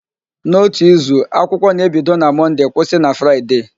N'ótù izu, akwụkwọ na-ebido na Mọnde kwụsị na Fraịde